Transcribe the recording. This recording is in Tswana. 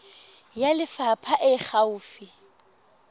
ya lefapha e e gaufi